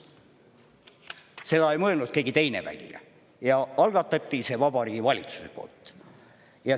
Seda ei mõelnud välja keegi teine, ja see algatati Vabariigi Valitsuse poolt.